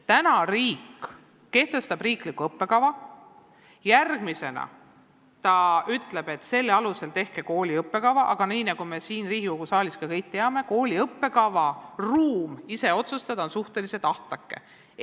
Täna kehtestab riik riikliku õppekava, järgmisena ütleb ta, et tehke selle alusel kooli õppekava, aga nii nagu me siin Riigikogu saalis kõik teame, on kooli ruum õppekava üle ise otsustada suhteliselt ahtake.